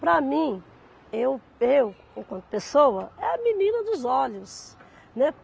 Para mim, eu, eu, enquanto pessoa, é a menina dos olhos, né.